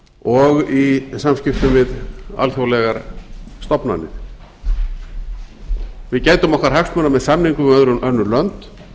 og í samskiptum við alþjóðlegar stofnanir við gætum okkar hagsmuna með samningum við önnur lönd